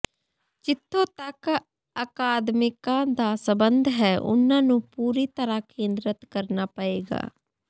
ਜਿੱਥੋਂ ਤੱਕ ਅਕਾਦਮਿਕਾਂ ਦਾ ਸੰਬੰਧ ਹੈ ਉਨ੍ਹਾਂ ਨੂੰ ਪੂਰੀ ਤਰ੍ਹਾਂ ਕੇਂਦ੍ਰਿਤ ਕਰਨਾ ਪਏਗਾ